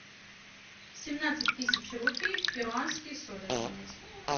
семнадцать тысяч рупий в перуанские соли обменять